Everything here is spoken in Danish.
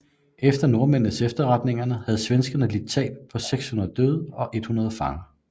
Efter nordmændenes efterretninger havde svenskerne lidt et tab på 600 døde og 100 fanger